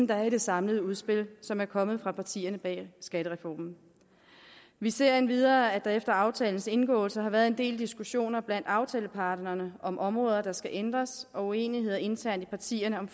der er i det samlede udspil som er kommet fra partierne bag skattereformen vi ser endvidere at der efter aftalens indgåelse har været en del diskussioner blandt aftaleparterne om områder der skal ændres og uenighed internt i partierne om